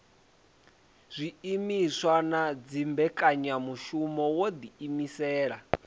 zwiimiswa na dzimbekanyamushumo wo ḓiimisela